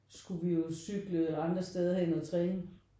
Skulle vi jo cykle andre steder hen og træne